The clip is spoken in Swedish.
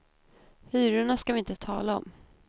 Hyrorna ska vi inte tala om.